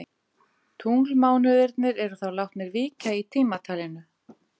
Gæsluvarðhald framlengt yfir tilræðismanni